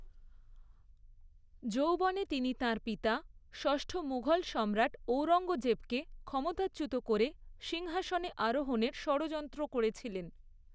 যৌবনে তিনি তাঁর পিতা, ষষ্ঠ মুঘল সম্রাট ঔরঙ্গজেবকে ক্ষমতাচ্যুত করে সিংহাসনে আরোহণের ষড়যন্ত্র করেছিলেন।